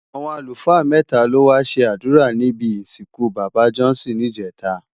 Awọn alúfaa mètá ló wá ṣé adúrá nibi isinkú baba Johnson ni ijètá